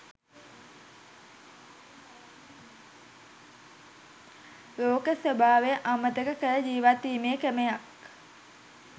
ලෝක ස්වභාවය අමතක කර ජීවත්වීමේ ක්‍රමයක්